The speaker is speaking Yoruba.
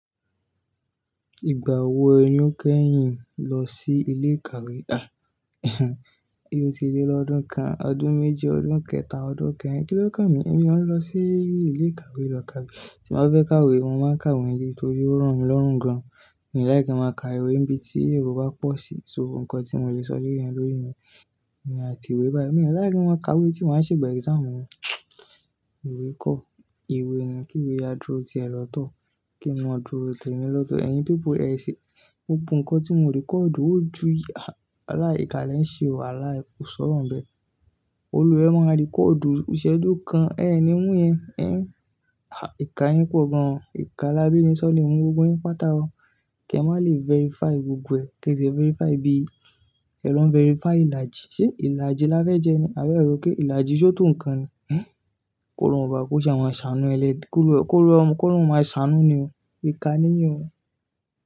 Ìgbà wo ni ó kẹ́yìn lọ sí ilé ìkàwé? Ó ti lé lọ́dún kan, ọdún méji, ọdún kẹta, ọdún kẹrin. Kí ló kà n mí? Ẹmi ó ń lọ sí ilé ìkàwé lọ kàwé. Tí n ba fẹ́ kàwé, mo máa ń kàwé níle ni torí ó ràn mí lọ́rùn gan. Mi n like kin máa ka ìwé níbi tí èrò bá pọ̀ sí, so nnkan tí mo le sọ leyen lórí niyẹn. Èmi àti ìwé, mí o ráyè láti ka ìwé tí wọ́n á ṣe ìgbà exam wọn. Ìwé kọ́, ìwé ẹni kí ìwé aduro ti ẹ̀ lọ́tọ̀ kí ń máa dúró tẹ́mi lọ́tọ̀. Ẹ̀yin people yí ẹ ṣe, gbó gbó nnkan tí mo record, ó ju ààlá ìkàlẹ̀ ń ṣe o, ààlá ò sọ̀rọ̀ bẹ́. Olùwẹ̀ máa record òdùú, ṣẹ́dún kan, ẹ́ ẹni mú ẹ, ẹ́n ha ìkà yín pọ̀ gan. Ìkà lá bí ní sọ́ọ̀lì mú gbogbo yín pátá o. Kẹ má lè verify gbogbo ẹ̀, kí ẹ sì verify bí ẹ wà verify ìlàjì. Ṣé ìlàjì la fẹ́ jẹ ni? A fẹ́ rò ó pé ìlàjì só tó nǹkan ni. Kóró ń ba, kóró ṣàwọn ṣàánú ẹlẹ́, kóró ẹ, kóró ẹ, kóró máa ṣàánú ni o. Ìkà níyì ọ.